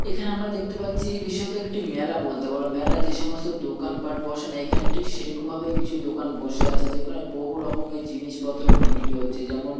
এখানে আমরা দেখতে পাচ্ছি বিশদ একটি মেলা বলতে পারো মেলায় যে সমস্ত দোকানপাট বসানো এখানে ঠিক সেরকম ভাবেই কিছু দোকান বসে আছে যেখানে বহু রকমের জিনিসপত্র বিক্রি হচ্ছে যেমন--